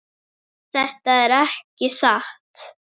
Þetta er ekki satt!